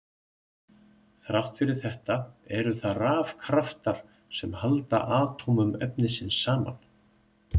Þrátt fyrir þetta eru það rafkraftar sem halda atómum efnisins saman.